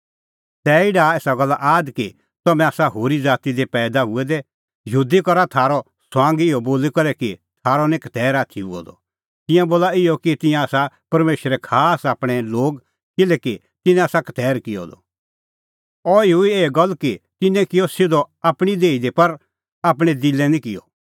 तैही डाहा एसा गल्ला आद कि तम्हैं आसा होरी ज़ाती दी पैईदा हुऐ दै यहूदी करा थारअ ठठअ इहअ बोली करै कि थारअ निं खतैर आथी हुअ द तिंयां बोला इहअ कि तिंयां आसा परमेशरे खास आपणैं लोग किल्हैकि तिन्नैं आसा खतैर किअ द अह हुई एही गल्ल कि तिन्नैं किअ सिधअ आपणीं देही दी पर आपणैं दिलै निं किअ